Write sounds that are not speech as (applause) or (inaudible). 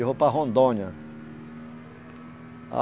Eu vou para Rondônia. (unintelligible)